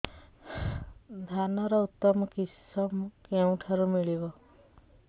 ଧାନର ଉତ୍ତମ କିଶମ କେଉଁଠାରୁ ମିଳିବ